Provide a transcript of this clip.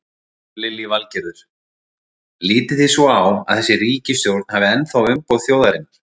Lillý Valgerður: Lítið þið svo á að þessi ríkisstjórn hafi ennþá umboð þjóðarinnar?